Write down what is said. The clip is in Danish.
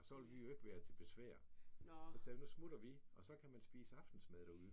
Så ville vi jo ikke være til besvær og sagde nu smutter vi og så kan man spise aftensmad derude